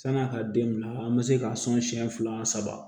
San'a ka den bila an bɛ se ka sɔn siɲɛ fila saba